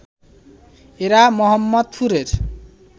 এরা মোহাম্মদপুরের